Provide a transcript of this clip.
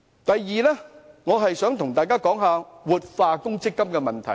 第二，我想跟大家談談活化強積金的問題。